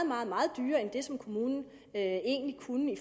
meget meget dyrere end det som kommunen egentlig kunne i